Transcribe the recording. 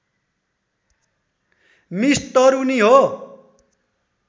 miss Taruni हो